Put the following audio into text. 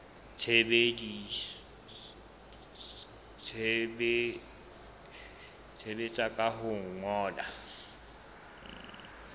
tsebisa ka ho o ngolla